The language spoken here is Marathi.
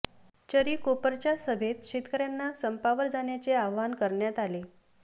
चरी कोपर च्या सभेत शेतकऱ्यांना संपावर जाण्याचे आवाहन करण्यात आले